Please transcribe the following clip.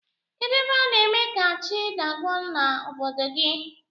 Kedu ebe ana eme ka chi dagụọ na obodo gi?